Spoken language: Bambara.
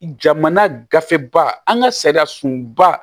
Jamana gafe ba an ka sariyasunba